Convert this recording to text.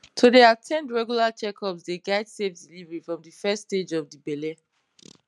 to dey at ten d regular checkups dey guide safe delivery from de first stage of de belle